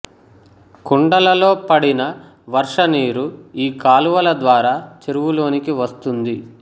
కొండలలో పడిన వర్ష నీరు ఈ కాలువల ద్వారా చెరువు లోనికి వస్తుంది